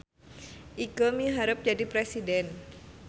Ikeu miharep jadi presiden